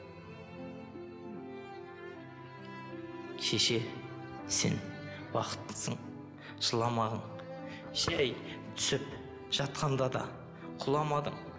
шеше сен бақыттысың жыламағын жай түсіп жатқанда да құламадың